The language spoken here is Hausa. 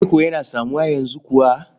Reko yana samuwa yanzu kuwa?